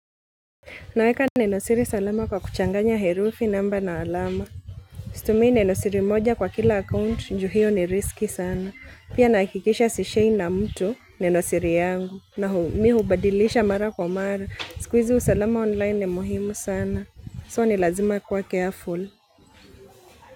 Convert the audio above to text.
Naweka neno siri salama kwa kuchanganya herufi namba na alama. Situmii neno siri moja kwa kila account juu hiyo ni riski sana. Pia nahakikisha sishei na mtu neno siri yangu. Na mi hubadilisha mara kwa mara. Siku hizi usalama online ni muhimu sana. So ni lazima kuwa careful.